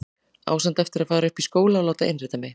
Á samt eftir að fara upp í skóla og láta innrita mig.